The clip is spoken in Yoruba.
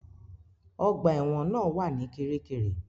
Ọgbà ẹ̀wọ̀n náà wà ní Kiríkirì.